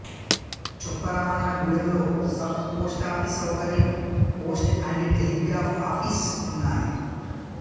చొప్పరామన్నగూడెంలో sub post office సౌకర్యం post and telegraph office ఉన్నాయి